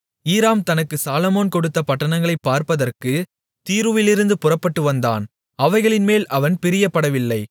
ஈராம் தனக்கு சாலொமோன் கொடுத்த பட்டணங்களைப் பார்ப்பதற்குத் தீருவிலிருந்து புறப்பட்டு வந்தான் அவைகளின்மேல் அவன் பிரியப்படவில்லை